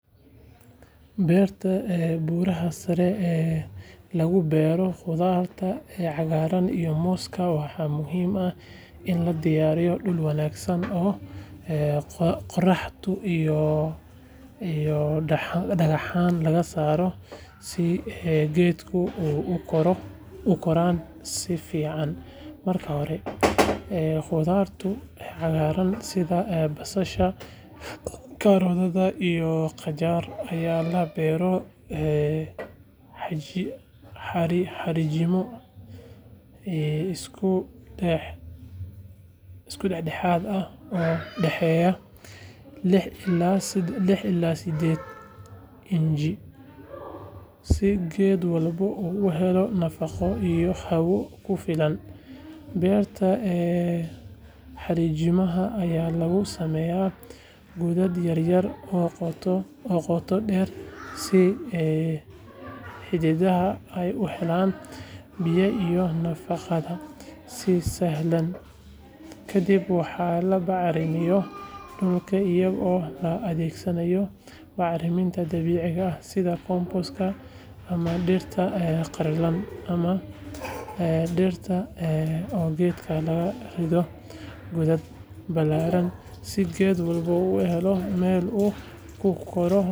Beerta buraha sare ee lagu bero qudharta cagaran iyo moska waxaa muhiim ah in la diyariyo dul wanagsan iyo qoradu iyo dagaxan lagasaro, marka hore qudharta cagaran sitha basasha iyo qajariyo aya labeera, beerta xarijimaha aya lagu sameya si ee xididaha ee u helan biyo si sahlan kadiib waxaa labari dirta oo balaran si geedku u uhelo meel u ku koro.